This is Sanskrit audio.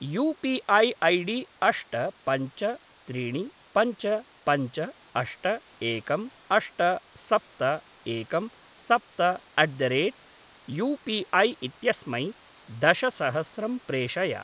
यू पी ऐ ऐडी अष्ट पञ्च त्रीणि पञ्च पञ्च अष्ट एकं अष्ट सप्त एकं सप्त अट् द रेट् युपिऐ इत्यस्मै दशसहस्रं प्रेषय।